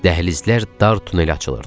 Dəhlizlər dar tunelə açılırdı.